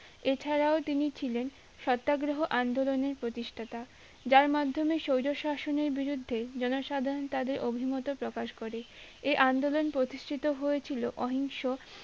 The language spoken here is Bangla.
এছাড়াও তিনি ছিলেন সত্যাগ্রহ আন্দোলনের প্রতিষ্ঠাতা যার মাধ্যমে স্বৈরশাসনের বিরুদ্ধে জনসাধারণ তাদের অভিমতও প্রকাশ করে এ আন্দোলন প্রতিষ্ঠা হয়েছিল অহিংস